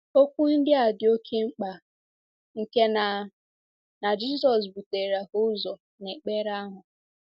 Okwu ndị a dị oké mkpa nke na na Jizọs butere ha ụzọ n’ekpere ahụ.